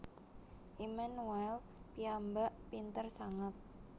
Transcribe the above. Immanuel piyambak pinter sanget